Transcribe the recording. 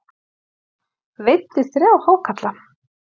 Veiddi þrjá hákarla